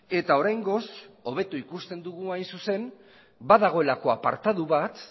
eta oraingoz hobeto ikusten dugu hain zuzen badagoelako apartatu bat